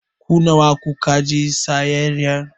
Ku nawa ku ka je sayayya?